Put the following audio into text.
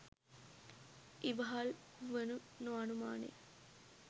ඉවහල් වනු නො අනුමානය.